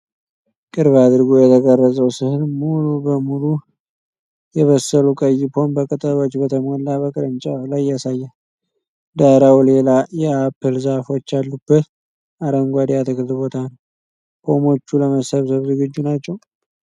ቅርብ አድርጎ የተቀረጸው ሥዕል ሙሉ በሙሉ የበሰሉ ቀይ ፖም በቅጠሎች በተሞላ በቅርንጫፍ ላይ ያሳያል። ዳራው ሌላ የአፕል ዛፎች ያሉበት አረንጓዴ የአትክልት ቦታ ነው። ፖሞቹ ለመሰብሰብ ዝግጁ ናቸው?